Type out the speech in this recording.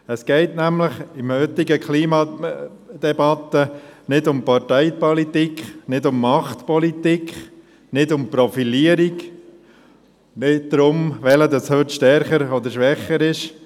In der heutigen Klimadebatte geht es nämlich nicht um Parteipolitik, nicht um Machtpolitik, nicht um Profilierung, nicht darum, wer heute stärker oder schwächer ist.